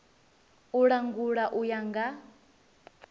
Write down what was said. u langula u ya nga